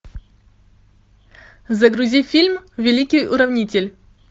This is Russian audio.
загрузи фильм великий уравнитель